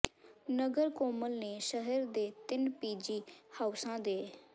ਨਗਰ council ਨੇ ਸ਼ਹਿਰ ਦੇ ਤਿੰਨ ਪੀਜੀ ਹਾਊਸਾਂ ਦੇ